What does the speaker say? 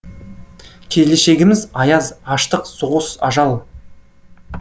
келешегіміз аяз аштық соғыс ажал